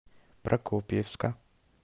прокопьевска